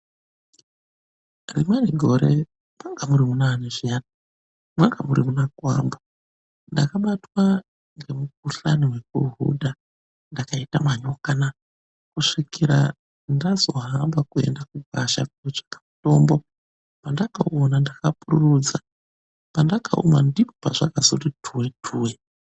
Rimweni gore mwanga muri munaani zviyani? Mwanga muri muna gwambu ndakabatwa ngemukhuhlane wekuhudha .Ndakaita manyokana kusvikira ndazohwamba kwenda kugwasha kootsvaka mutombo pandakauona ndakapururudza pandakaumwa ndopazvakazoti turituri.